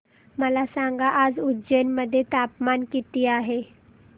मला सांगा आज उज्जैन मध्ये तापमान किती आहे